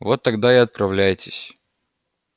вот тогда и отправляйтесь